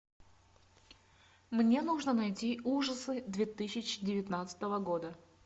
мне нужно найти ужасы две тысячи девятнадцатого года